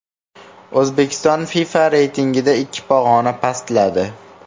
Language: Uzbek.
O‘zbekiston FIFA reytingida ikki pog‘ona pastladi.